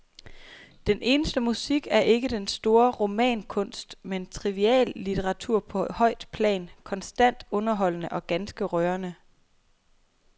Den eneste musik er ikke den store romankunst, men triviallitteratur på højt plan, konstant underholdende og ganske rørende.